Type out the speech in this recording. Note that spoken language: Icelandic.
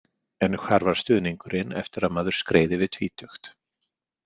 En hvar var stuðningurinn eftir að maður skreið yfir tvítugt?